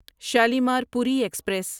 Shalimar Puri express